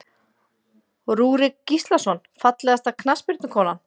Rúrik Gíslason Fallegasta knattspyrnukonan?